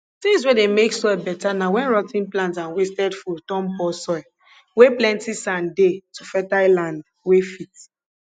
things wey dey make soil better na wen rot ten plants and wasted food turn poor soil wey plenty sand dey to fertile land wey fit